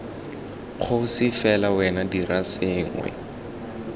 kgosi fela wena dira sengwe